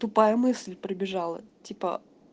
тупая мысль пробежала типа